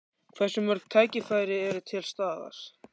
Hversu mörg tækifæri eru til staðar?